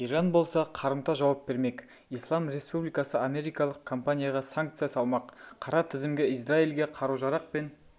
иран болса қарымта жауап бермек ислам республикасы америкалық компанияға санкция салмақ қара тізімге израильге қару-жарақ пен